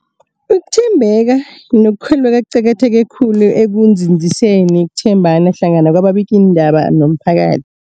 Ukuthembeka nokukholweka kuqakatheke khulu ekunzinziseni ukuthembana hlangana kwababikiindaba nomphakathi.